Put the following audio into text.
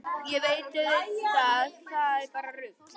Ég veit auðvitað að það er bara rugl.